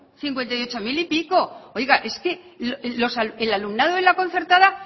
cincuenta y ocho mil y pico oiga es que el alumnado de la concertada